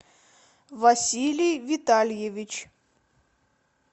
василий витальевич